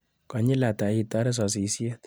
Konyil ata itare sasishet.